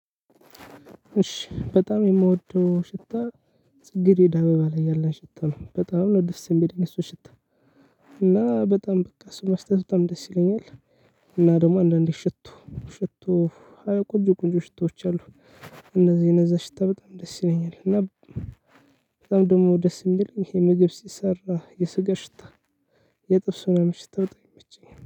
እሺ በጣም የምወደው ሽታ ፅጌሬዳ አበባ ላይ ያለን ሽታ ነው በጣም ነው ደስ የሚለኝ እሱ ሽታ። እና በጣም በቃ እሱን ማሽተት በጣም ደስ ይለኛል። እና ደግሞ አንዳንዴ ሽቶ ሽቶ አዎ ቆንጮ ቆንጮ ሽቶዎች አሉ። እነዚህ እነዛ ሽታ በጣም ደስ ይለኛል እና። በጣም ደግሞ ደስ የሚል ይሄ ምግብ ሲሰራ የሰጋ ሽታ። የጥብስ ምናምን ሽታ በጣም ይመቸኛል